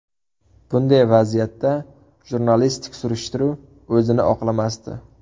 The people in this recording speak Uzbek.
Bunday vaziyatda jurnalistik surishtiruv o‘zini oqlamasdi.